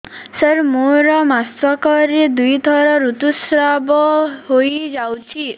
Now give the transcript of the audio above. ସାର ମୋର ମାସକରେ ଦୁଇଥର ଋତୁସ୍ରାବ ହୋଇଯାଉଛି